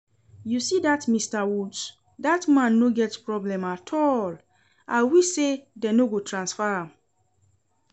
You see dat Mr. Woods, dat man no get problem at all. I wish say dem no go transfer am